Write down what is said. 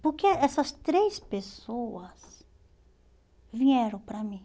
Porque essas três pessoas vieram para mim.